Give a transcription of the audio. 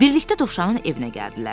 Birlikdə Dovşanın evinə gəldilər.